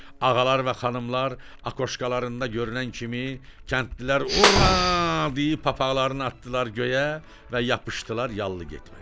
Ağalar və xanımlar akokalarında görünən kimi kəndlilər hurra deyib papaqlarını atdılar göyə və yapışdılar yallı getməyə.